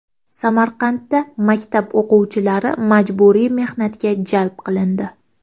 Samarqandda maktab o‘quvchilari majburiy mehnatga jalb qilindi.